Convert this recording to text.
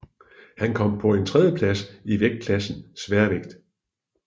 Han kom på en tredje plads i vægtklassen Sværvægt